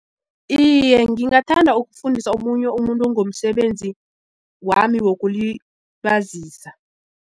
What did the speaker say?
Iye, ngingathanda ukufundisa omunye umuntu ngomsebenzi wami wokulibazisa.